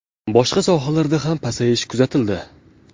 Boshqa sohalarda ham pasayish kuzatildi.